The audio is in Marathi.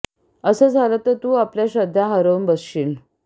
असं झालं तर तू आपल्या श्रद्धा हरवून बसशील